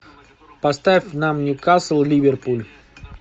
поставь нам ньюкасл ливерпуль